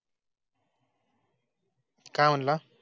काय म्हणाला?